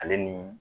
Ale ni